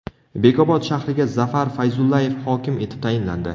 Bekobod shahriga Zafar Fayzullayev hokim etib tayinlandi.